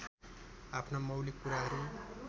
आफ्ना मौलिक कुराहरू